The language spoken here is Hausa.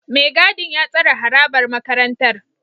Mai gadin ya tsare harabar makarantar